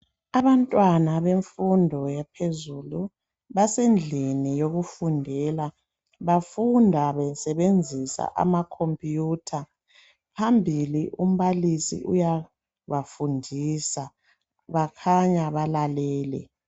Abantwana bemfundo yaphezulu basendlini yokufundela bafunda besebenzisa amacomputer . Phambili umbalisi uyabafundisa .Bakhanya balalele